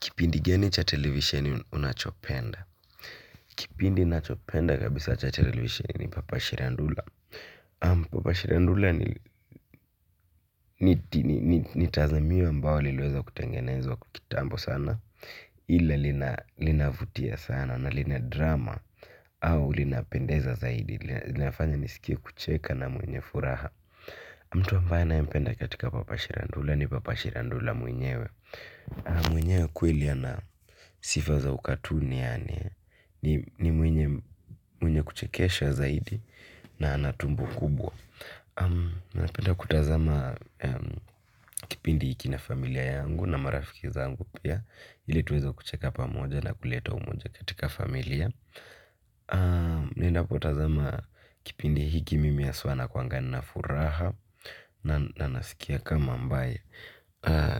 Kipindi geni cha televisheni unachopenda. Kipindi nachopenda kabisa cha televisioni ni Papa Shirandula Papa Shirandula ni tazamiwe ambao liweza kutengenezo kukitambo sana. Ila linavutia sana na linadrama au linapendeza zaidi. Linafanya nisikie kucheka na mwenye furaha. Mtu ambaye na empenda katika Papa Shirandula ni Papa Shirandula mwenyewe. Mwenyewe kweli ana sifaza ukatuni yani. Ni mwenye kuchekesha zaidi. Na anatumbo kubwa. Na penda kutazama kipindi hiki na familia yangu. Na marafiki zangu pia. Hili tuweza kucheka pamoja. Na kuleta umoja katika familia. Napenda kutazama kipindi hiki mimi aswa na kuanga na furaha. Na nasikia kama ambae.